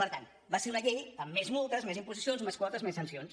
per tant va ser una llei amb més multes més imposicions més quotes més sancions